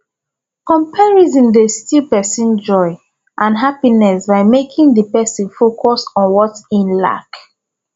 comparison dey steal pesin joy and happiness by making di pesin focus on what im lack